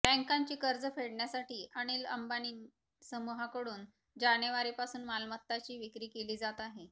बँकांची कर्ज फेडण्यासाठी अनिल अंबानी समूहाकडून जानेवारीपासून मालमत्ताची विक्री केली जात आहे